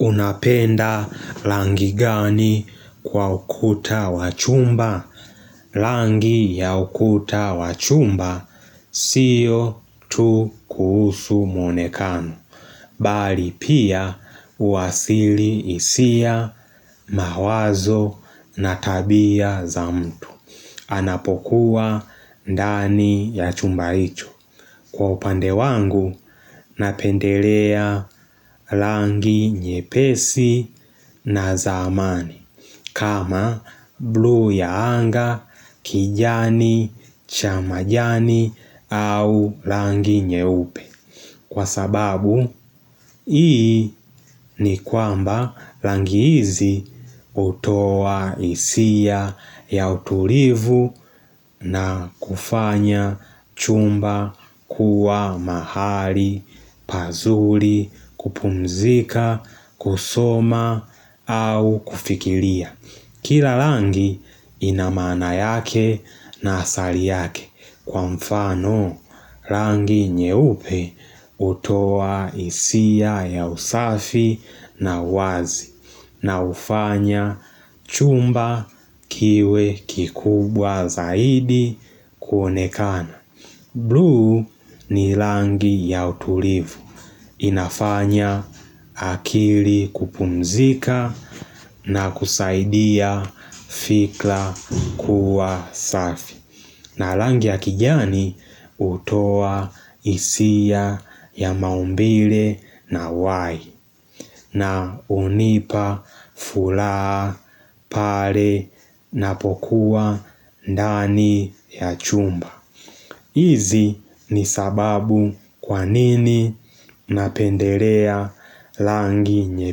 Unapenda rangi gani kwa ukuta wachumba? Rangi ya ukuta wa chumba sio tu kuhusu mwonekano Bali pia uhasili hisia, mawazo na tabia za mtu. Anapokuwa ndani ya chumba hicho. Kwa upande wangu, napendelea rangi nyepesi na zamani, kama blu ya anga, kijani, cha majani, au rangi nyeupe. Kwa sababu, hii ni kwamba rangi hizi utoa hisia ya utulivu na kufanya chumba kuwa mahali, pazuri, kupumzika, kusoma au kufikiria. Kila rangi ina maana yake na asali yake kwa mfano rangi nyeupe utoa hisia ya usafi na wazi na hufanya chumba kiwe kikubwa zaidi kuonekana. Blue ni rangi ya utulivu. Inafanya akili kupumzika na kusaidia fikra kuwa safi. Na rangi ya kijani utoa hisia ya maumbile na uhai. Na unipa furaha pale na napokuwa ndani ya chumba. Hizi ni sababu kwa nini napendelea rangi nye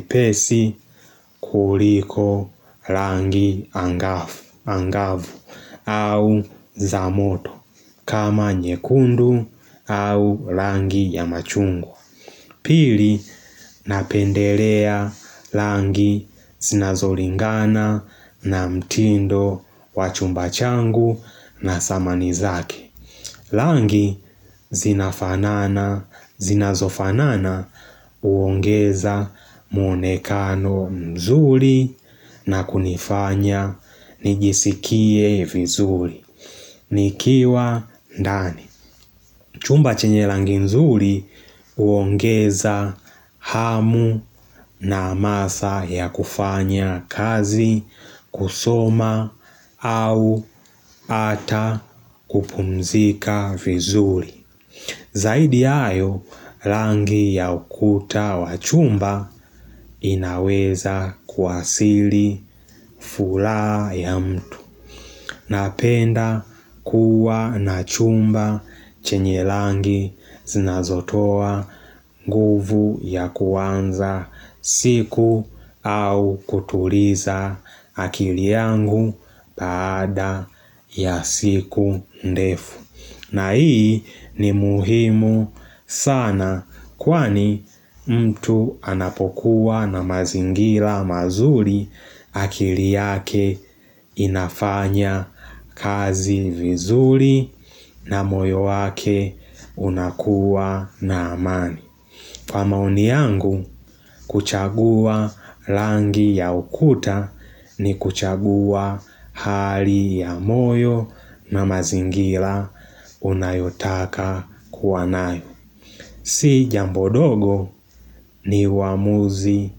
pesi kuliko rangi angavu au za moto kama nyekundu au rangi ya machungwa. Pili napendelea rangi zinazolingana na mtindo wa chumba changu na samani zake. Rangi zinazofanana huongeza mwonekano mzuri na kunifanya nijisikie vizuri nikiwa ndani Chumba chenye rangi nzuri huongeza hamu na hamasa ya kufanya kazi, kusoma au ata kupumzika vizuri Zaidi ya hayo, rangi ya ukuta wa chumba inaweza kuwasili furaha ya mtu. Napenda kuwa na chumba chenye rangi zinazotoa nguvu ya kuanza siku au kutuliza akili yangu baada ya siku ndefu. Na hii ni muhimu sana kwani mtu anapokuwa na mazingira mazuri akili yake inafanya kazi vizuri na moyo wake unakuwa na amani. Kwa maoni yangu, kuchagua rangi ya ukuta ni kuchagua hali ya moyo na mazingira unayota kuwa nayo. Si jambo dogo ni uamuzi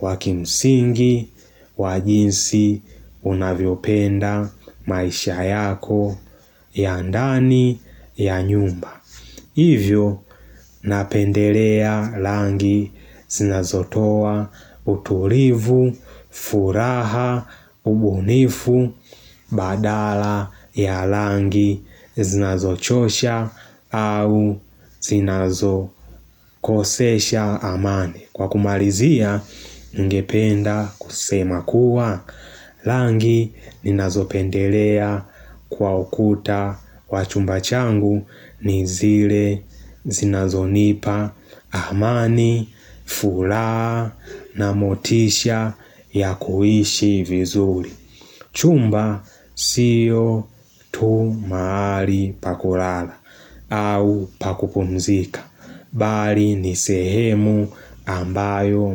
wa kimsingi, wa jinsi unavyopenda maisha yako ya ndani ya nyumba. Hivyo, napendelea rangi zinazotoa utulivu, furaha, ubunifu, badala ya rangi zinazochosha au zinazo kosesha amani. Kwa kumalizia ningependa kusema kuwa rangi ninazo pendelea kwa ukuta wa chumba changu ni zile zinazonipa amani, furaha na motisha ya kuhishi vizuri. Chumba sio tu mahali pa kulala au pa kupumzika Bali nisehemu ambayo.